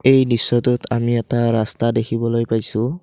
এই দৃশ্যটোত আমি এটা ৰাস্তা দেখিবলৈ পাইছোঁ।